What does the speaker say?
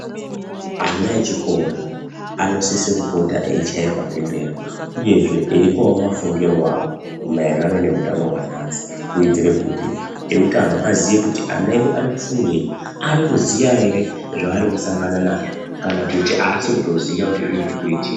Ana echikora anosisa kupota eichayirwa bembera uyezve eipawo mafungire awo maererano noutano hwanhasi. Kuitire kuti eutano aziye kuti ana edu ari kufungei ari kuziya ere zvaari kusangana nazvo kana kuti aasi kutoziya kuti zvii zviri kuitika.